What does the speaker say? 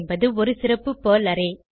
என்பது ஒரு சிறப்பு பெர்ல் அரே